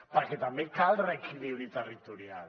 perquè també cal reequilibri territorial